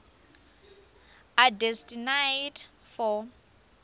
are destined for